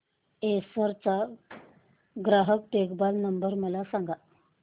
Acer चा ग्राहक देखभाल नंबर मला सांगा